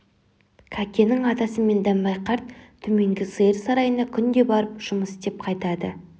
кәкеннің атасы мен дәмбай қарт төменгі сиыр сарайына күнде барып жүмыс істеп қайтады